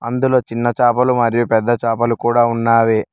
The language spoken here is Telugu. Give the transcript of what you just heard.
ఇందులో చిన్న చాపలు మరియు పెద్ద చాపలు కూడా ఉన్నావి.